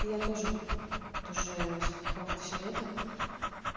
я тоже тоже сколько всё лето